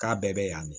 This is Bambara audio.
K'a bɛɛ bɛ yan de